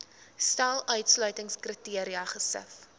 stel uitsluitingskriteria gesif